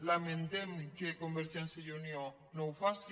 lamentem que convergència i unió no ho faci